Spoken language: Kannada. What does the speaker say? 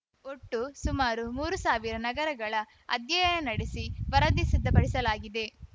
ಒಟ್ಟು ಸುಮಾರು ಮೂರು ಸಾವಿರ ನಗರಗಳ ಅಧ್ಯಯನ ನಡೆಸಿ ವರದಿ ಸಿದ್ಧಪಡಿಸಲಾಗಿದೆ